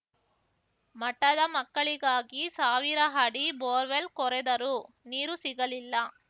ಮಠದ ಮಕ್ಕಳಿಗಾಗಿ ಸಾವಿರ ಅಡಿ ಬೋರ್‌ವೆಲ್‌ ಕೊರೆದರೂ ನೀರು ಸಿಗಲಿಲ್ಲ